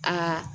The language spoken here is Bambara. Aa